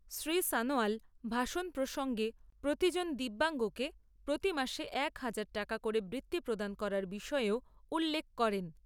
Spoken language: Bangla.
শ্রী সনোয়াল ভাষণ প্রসঙ্গে প্রতিজন দিব্যাঙ্গকে প্রতিমাসে এক হাজার টাকা করে বৃত্তি প্রদান করার বিষয়েও উল্লেখ করেন।